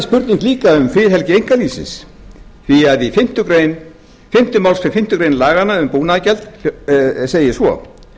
spurning líka um friðhelgi einkalífsins því að í fimmta málsgrein fimmtu grein laganna um búnaðargjald segir svo